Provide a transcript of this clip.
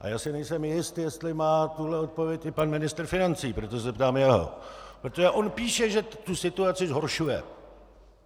A já si nejsem jist, jestli má tuhle odpověď i pan ministr financí, proto se ptám jeho, protože on píše, že tu situaci zhoršuje.